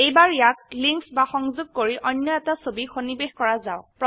এইবাৰ ইয়াক লিঙ্ক বা সংযোগ কৰি অন্য এটা ছবি সন্নিবেশ কৰা যাওক